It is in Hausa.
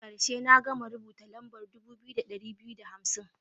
A karshe, na gama rubuta lambar dubu biyu da ɗari biyu da hamsin.